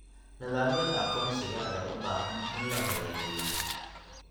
Nidaamyada aqoonsiga ayaa u baahan in la hagaajiyo.